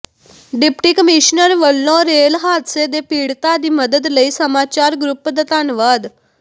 deputy commissioner ਵਲੋਂ rail ਹਾਦਸੇ ਦੇ ਪੀੜਤਾਂ ਦੀ ਮਦਦ ਲਈ ਸਮਾਚਾਰ ਗਰੁੱਪ ਦਾ ਧੰਨਵਾਦ